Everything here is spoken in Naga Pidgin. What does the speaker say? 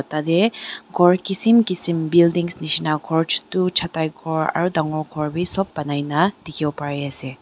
tatae khor kisim kisim buildings nishina khor chutu chatai khor aru dangor khor bi sop banaina dikhiwo pariase.